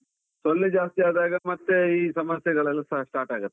ಸೊಳ್ಳೆ ಜಾಸ್ತಿ ಆದಾಗ ಮತ್ತೆ ಈ ಸಮಸ್ಯೆಗಳೆಲ್ಲಾ start ಆಗತ್ತೆ.